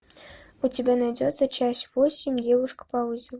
у тебя найдется часть восемь девушка по вызову